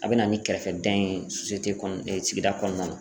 A bɛ na ni kɛrɛfɛdɛn ye sigida kɔnɔna na.